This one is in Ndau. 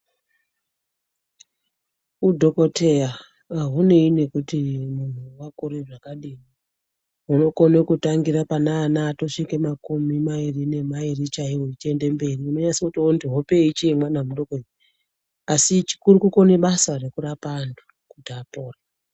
Udhokoteya haunei nekuti munhu wakakura zvakadini unogone kutangira paana asvika pamakore makumi mairi nemairi chaiwo zvichienda mberi unotonasa kuone hope iyi ichitori yemwana mudoko asi chikuru kukone basa rekurape antu kuti apore.